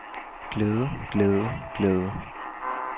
glæde glæde glæde